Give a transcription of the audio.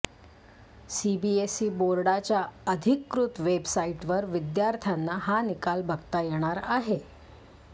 CBSE बोर्डाच्या अधिकृत वेबसाईटवर विद्यार्थ्यांना हा निकाल बघता येणार आहे